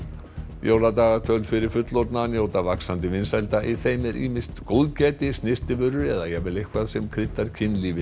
jóladagatöl fyrir fullorðna njóta vaxandi vinsælda í þeim er ýmist góðgæti snyrtivörur eða jafnvel eitthvað sem kryddar kynlífið